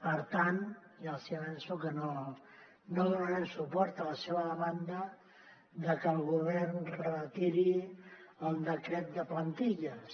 per tant ja els hi avanço que no donarem suport a la seva demanda de que el govern retiri el decret de plantilles